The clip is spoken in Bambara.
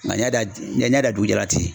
Nga ni ya da dugu jalan na ten